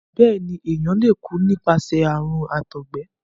béèni èyán lẹ kú nípasẹ àrùn àtọgbẹ.